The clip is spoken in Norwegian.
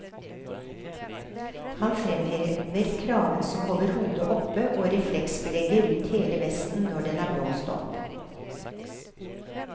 Han fremhever kraven som holder hodet oppe, og refleksbelegget rundt hele vesten når den er blåst opp.